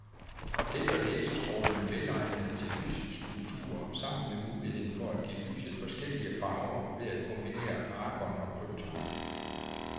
Og det gør laserstrålerne velegnede til lysskulpturer, sammen med muligheden for at give lyset forskellige farver ved at kombinere argon og krypton.